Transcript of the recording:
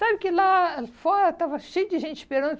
Sabe que lá fora estava cheio de gente esperando.